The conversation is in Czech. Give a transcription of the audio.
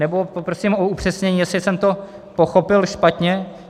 Nebo prosím u upřesnění, jestli jsem to pochopil špatně.